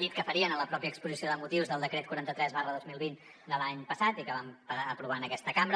dit que farien en la mateixa exposició de motius del decret quaranta tres dos mil vint de l’any passat i que vam aprovar en aquesta cambra